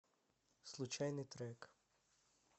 случайный трек